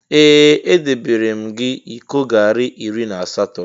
Ee! Edebeere m gị iko garị iri na asatọ.